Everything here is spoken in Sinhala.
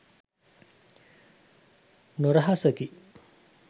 නොරහසකි.